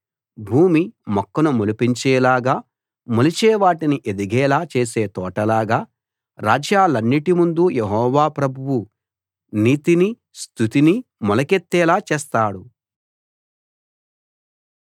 భూమి మొక్కను మొలిపించేలాగా మొలిచే వాటిని ఎదిగేలా చేసే తోటలాగా రాజ్యాలన్నిటిముందు యెహోవా ప్రభువు నీతినీ స్తుతినీ మొలకెత్తేలా చేస్తాడు